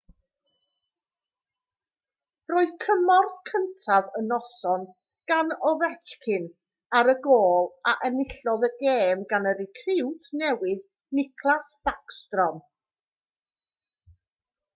roedd cymorth cyntaf y noson gan ovechkin ar y gôl a enillodd y gêm gan y recriwt newydd nicklas backstrom